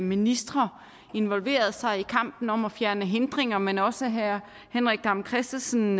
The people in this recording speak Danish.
ministre involverer sig i kampen om at fjerne hindringer men også herre henrik dam kristensen